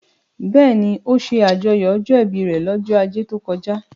Bẹ́ẹ̀ni, ó ṣe àjọyọ̀ ọjọ́ ìbí rẹ̀ lọ́jọ́ ajé tó kọjá